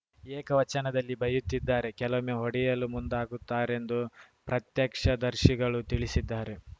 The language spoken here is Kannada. ಏಕವಚನದಲ್ಲಿ ಬೈಯುತ್ತಿದ್ದಾರೆ ಕೆಲವೊಮ್ಮೆ ಹೊಡೆಯಲು ಮುಂದಾಗುತ್ತಾರೆಂದು ಪ್ರತ್ಯಕ್ಷದರ್ಶಿಗಳು ತಿಳಿಸಿದ್ದಾರೆ